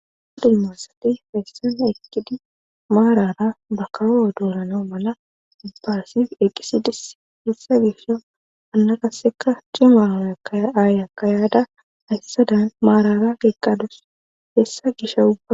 Aa dummasati feyssan ekidi maarara bakawo odoorana mala dubbasif eqisidis hissa gisha anna kasseka cima aayaka yaada hayssadan maarara geeqqadus hessa gisha ubba.